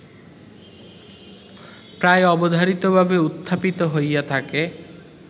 প্রায়োবধারিতভাবে উত্থাপিত হইয়া থাকে